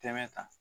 Tɛmɛ kan